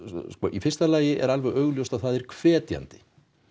í fyrsta lagi er alveg augljóst að það er hvetjandi